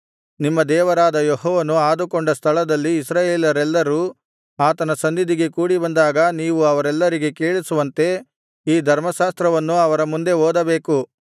ನಿಮ್ಮ ದೇವರಾದ ಯೆಹೋವನು ಆದುಕೊಂಡ ಸ್ಥಳದಲ್ಲಿ ಇಸ್ರಾಯೇಲರೆಲ್ಲರು ಆತನ ಸನ್ನಿಧಿಗೆ ಕೂಡಿಬಂದಾಗ ನೀವು ಅವರೆಲ್ಲರಿಗೆ ಕೇಳಿಸುವಂತೆ ಈ ಧರ್ಮಶಾಸ್ತ್ರವನ್ನು ಅವರ ಮುಂದೆ ಓದಬೇಕು